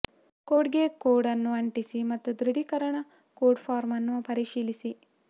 ಕೋಡ್ಗೆ ಕೋಡ್ ಅನ್ನು ಅಂಟಿಸಿ ಮತ್ತು ದೃಢೀಕರಣ ಕೋಡ್ ಫಾರ್ಮ್ ಅನ್ನು ಪರಿಶೀಲಿಸಿ